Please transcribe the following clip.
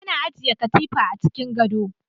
ana ajiye katifa a cikin gado